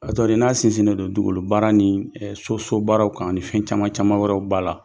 A tɔgɔ ye di n'a sinsinnen don dugukolo baara ni so so baararaw kan ani fɛn caman wɛrɛw b'a la.